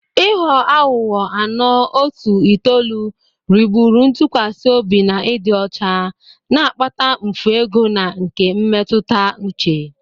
Ịghọ aghụghọ (ano, otu, itoolu) rigburu ntụkwasị obi na ịdị ọcha, na-akpata mfu ego na nke mmetụta uche.